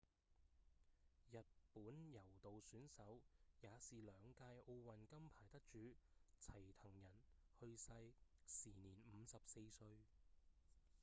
日本柔道選手也是兩屆奧運金牌得主齊藤仁 hitoshi saito 去世時年54歲